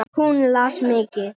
Hún las mikið.